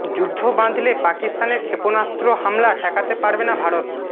যুদ্ধ বাধলে পাকিস্তানের ক্ষেপণাস্ত্র হামলা ঠেকাতে পারবে না ভারত